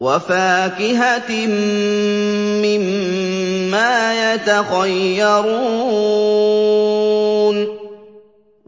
وَفَاكِهَةٍ مِّمَّا يَتَخَيَّرُونَ